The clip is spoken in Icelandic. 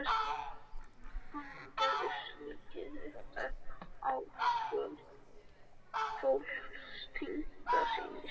Hann gerði silkið upptækt og fól tengdasyni sínum